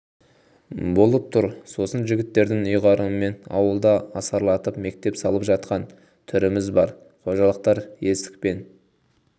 болып тұр сосын жігіттердің үйғарымымен ауылда асарлатып мектеп салып жатқан түріміз бар қожалықтар есік пен